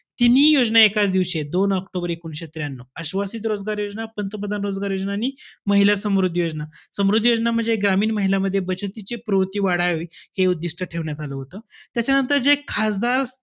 तिन्ही योजना एकाच दिवशीयेत. दोन ऑक्टोबर एकोणविशे त्र्यानऊ. आश्वासित रोजगार योजना, पंतप्रधान रोजगार योजना आणि महिला समृद्धी योजना. समृद्धी योजना म्हणजे ग्रामीण महिलामध्ये बचतीची प्रवृत्ती वाढावी हे उद्दिष्ट ठेवण्यात आलं होतं. त्याच्यानंतर जे खासदार,